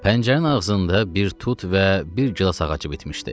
Pəncərənin ağzında bir tut və bir gilas ağacı bitmişdi.